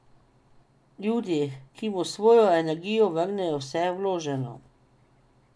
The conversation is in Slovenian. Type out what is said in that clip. Ljudi, ki mu s svojo energijo vrnejo vse vloženo.